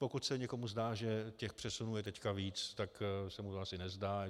Pokud se někomu zdá, že těch přesunů je teď víc, tak se mu to asi nezdá.